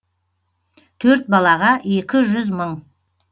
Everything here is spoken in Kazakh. төрт балаға екі жүз мың